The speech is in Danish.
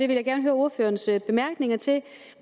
vil gerne høre ordførerens bemærkninger til